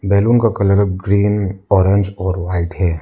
Balloon का colour green orange और white है।